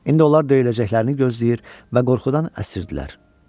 İndi onlar döyüləcəklərini gözləyir və qorxudan əsirdilər.